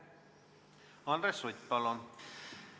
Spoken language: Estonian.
Andres Sutt, palun!